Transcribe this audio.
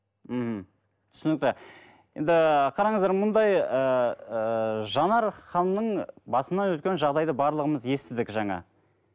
мхм түсінікті енді қараңыздар мұндай ыыы жанар ханымның басынан өткен жағдайды барлығымыз естідік жаңа